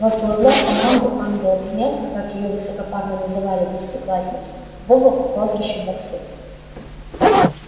возглавлял команду ангелов смерти как её высокопарно называли десятиклассники вова по прозвищу барсук